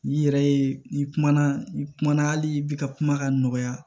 N'i yɛrɛ ye n'i kumana n'i kumana hali i bɛ ka kuma ka nɔgɔya